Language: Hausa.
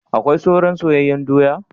Akwai soran soyanyen doya?